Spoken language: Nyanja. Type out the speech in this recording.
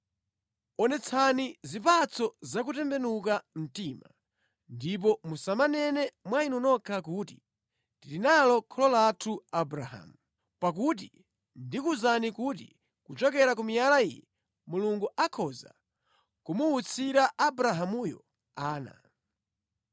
Onetsani zipatso zakutembenuka mtima, ndipo musamanene mwa inu nokha kuti, ‘Tili nalo kholo lathu Abrahamu,’ pakuti ndikuwuzani kuti kuchokera ku miyala iyi, Mulungu akhoza kumuwutsira Abrahamuyo ana.